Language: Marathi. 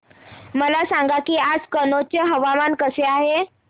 मला सांगा की आज कनौज चे हवामान कसे आहे